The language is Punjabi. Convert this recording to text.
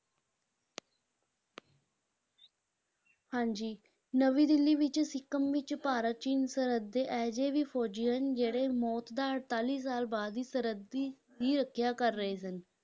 ਹਾਂਜੀ ਨਵੀਂ ਦਿੱਲੀ ਵਿੱਚ ਸਿੱਕਮ ਵਿਚ ਭਾਰਤ-ਚੀਨ ਸਰਹੱਦ ਤੇ ਇਹ ਜਿਹੇ ਵੀ ਫੌਜ਼ੀ ਹਨ ਜਿਹੜੇ ਮੌਤ ਦਾ ਅੜਤਾਲੀ ਸਾਲ ਬਾਅਦ ਵੀ ਸਰਹੱਦ ਦੀ, ਦੀ ਰੱਖਿਆ ਕਰ ਰਹੇ ਸਨ,